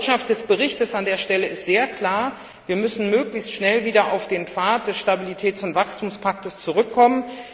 Die Botschaft des Berichts an der Stelle ist sehr klar Wir müssen möglichst schnell wieder auf den Pfad des Stabilitäts und Wachstumspaktes zurückkommen.